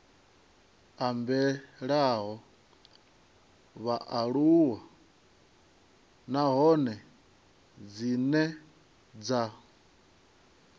ambelaho vhaaluwa nahone dzine dza